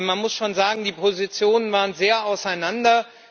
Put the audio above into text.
Man muss schon sagen, die Positionen waren weit auseinander.